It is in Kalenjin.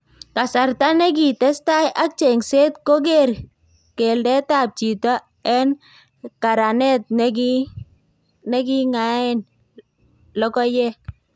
Kasarta nekitestai ak chengseet kokeer keldeetab chito en karaanet neking'aaen lokoyeek .